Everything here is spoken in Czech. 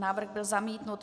Návrh byl zamítnut.